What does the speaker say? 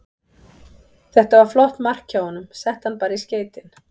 Þetta var flott mark hjá honum, setti hann bara í skeytin.